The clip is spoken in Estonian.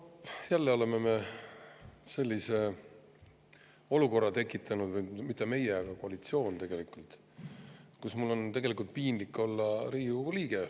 Noh, jälle oleme me tekitanud sellise olukorra – või mitte meie, vaid koalitsioon –, kus mul on piinlik olla Riigikogu liige.